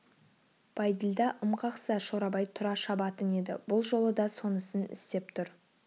бәйділда ым қақса шорабай тұра шабатын еді бұл жолы да сонысын істеп тұр